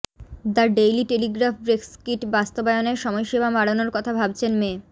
the Daily Telegraph Brexit বাস্তবায়নের সময়সীমা বাড়ানোর কথা ভাবছেন মে